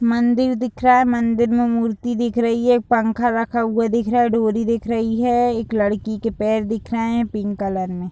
मंदिर दिख रहा है। मंदिर में मूर्ती दिख रही है। पंखा रखा हुआ दिख रहा है। डोरी दिख रही है। एक लड़की के पैर दिख रहे हैं। पिंक कलर में--